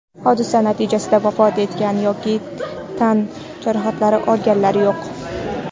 Hodisa natijasida vafot etgan yoki tan jarohati olganlar yo‘q.